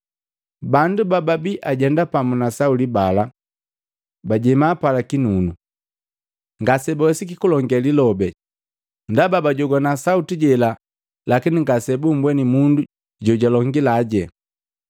Bandu bababi ajenda pamu na Sauli bala bajema pala kinunu, ngasebawesiki kulonge lilobi, ndaba bajogwana sauti jela lakini ngasebumbweni mundu jojalongilaje.